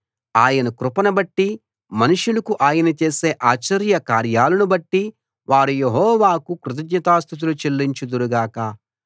ఆయన కృపను బట్టి మనుషులకు ఆయన చేసే ఆశ్చర్య కార్యాలనుబట్టి వారు యెహోవాకు కృతజ్ఞతాస్తుతులు చెల్లించుదురు గాక